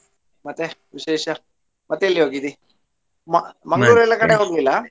ಮತ್ತೆ ವಿಶೇಷಾ ಮತ್ತೆ ಈಗ ಹೇಗಿದಿ ಮ~ ಎಲ್ಲಾ ಕಡೆ ಹೋಗ್ಲಿಲ್ಲ?